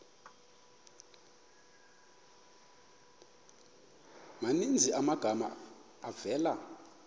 maninzi amagama avela